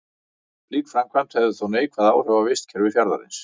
Slík framkvæmd hefði þó neikvæð áhrif á vistkerfi fjarðarins.